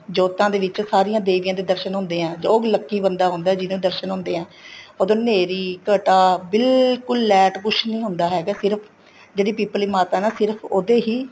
ਜੋਤਾਂ ਦੇ ਵਿੱਚ ਸਾਰੀਆਂ ਦੇਵੀਆਂ ਦਰਸ਼ਨ ਹੁੰਦੇ ਹੈ ਬਹੁਤ lucky ਬੰਦਾ ਹੁੰਦਾ ਜਿਹਨੂੰ ਦਰਸ਼ਨ ਹੁੰਦੇ ਹੈ ਉਦੋਂ ਹਨੇਰੀ ਘਟਾਂ ਬਿਲਕੁਲ ਲੇਟ ਕੁੱਛ ਨਹੀਂ ਹੁੰਦਾ ਹੈਗਾ ਸਿਰਫ਼ ਜਿਹੜੀ ਪਿੱਪਲੀ ਮਾਤਾ ਹੈਂ ਨਾ ਸਿਰਫ਼ ਉਹ ਤੇ ਹੀ